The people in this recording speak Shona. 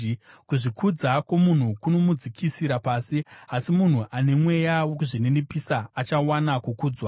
Kuzvikudza kwomunhu kunomudzikisira pasi, asi munhu ane mweya wokuzvininipisa achawana kukudzwa.